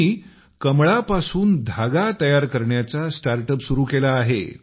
त्यांनी कमळापासून धागा तयार करण्याचा स्टार्ट अप सुरू केला आहे